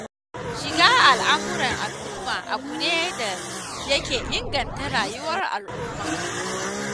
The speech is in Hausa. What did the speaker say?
Shiga al'amuran al'umma abu ne da yake inganta rayuwar al'ummar.